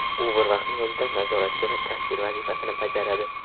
U bir vaqtning o‘zida nazoratchi va kassir vazifasini bajaradi.